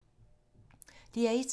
DR1